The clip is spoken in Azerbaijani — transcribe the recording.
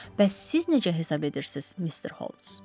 Bəs siz necə hesab edirsiz, Mister Holmes?